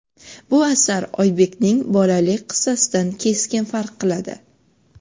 Bu asar Oybekning "Bolalik" qissasidan keskin farq qiladi.